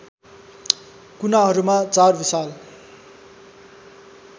कुनाहरूमा चार विशाल